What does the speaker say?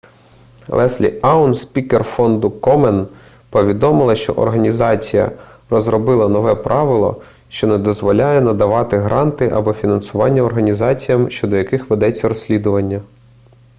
леслі аун спікер фонду комен повідомила що організація розробила нове правило що не дозволяє надавати гранти або фінансування організаціям щодо яких ведеться розслідування